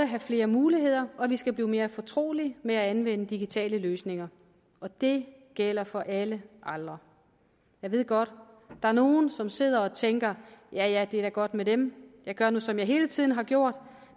have flere muligheder og vi skal blive mere fortrolige med at anvende digitale løsninger og det gælder for alle aldre jeg ved godt der er nogle som sidder og tænker ja ja det er da godt med dem jeg gør nu som jeg hele tiden har gjort